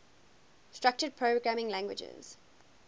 structured programming languages